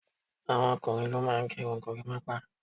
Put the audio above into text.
àwọn ọkùnrin ló máà ń gé irun gorimapa